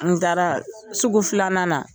N taara sugu filanan na.